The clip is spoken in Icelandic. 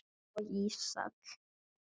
og Ísak.